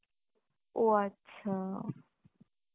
ও আচ্ছা